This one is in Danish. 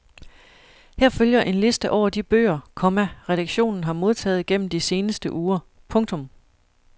Her følger en liste over de bøger, komma redaktionen har modtaget gennem de seneste uger. punktum